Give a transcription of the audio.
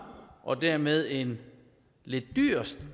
og dermed en lidt dyr